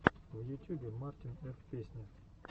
в ютюбе мартин ф песня